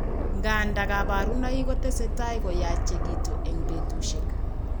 Nga nda, kabarunoik kotese tai koyachekitu eng' betushiek.